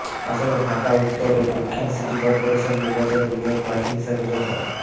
আসন্ন ঢাকা উত্তর ও দক্ষিণ সিটি করপোরেশন নির্বাচনে মেয়র প্রার্থী হিসেবে যথ